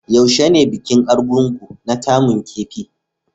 Yaushe ne bikin Argungu na kaman kifi?